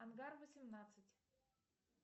ангар восемнадцать